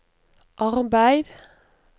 arbeid